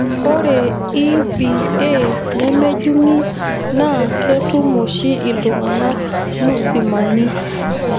Ore EBA nemejungi naa ketum oshi iltunganak musimani.